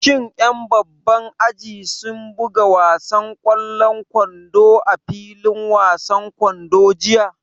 Shin ƴan babban aji sun buga wasan ƙwallon kwando a filin wasan kwando jiya?